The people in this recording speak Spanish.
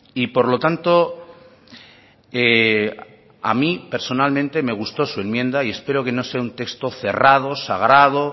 y por lo tanto a mí personalmente me gustó su enmienda y espero que no sea un texto cerrado sagrado